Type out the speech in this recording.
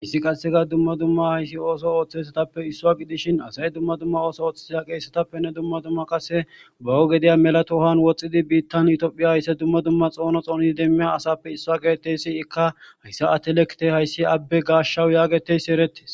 Issi qasseka dumma dumma hayssi ooso ooththesatappe issua gidishin asay dumma dumma ooso ooththea qeesetappenne dumma dumma qasse bawo gedeya melatohan woxxidi biittan itoophiya haysse dumma dumma xoono xoonidi demmiya asappe issaa geettessiikka hayssa atelekite hayssi abbe gaashshawu yaagetessi erettes.